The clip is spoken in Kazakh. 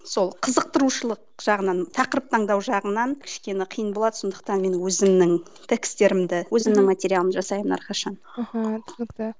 сол қызықтырушылық жағынан тақырып таңдау жағынан кішкене қиын болады сондықтан менің өзімнің текстерімді өзімнің материалымды жасаймын әрқашан мхм түсінікті